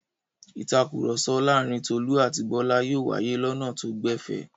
Ìtakùrọ̀sọ láàárin Tolú àti Bọ́lá yóò wáyé lọnà tó gbẹ̀fẹ̀.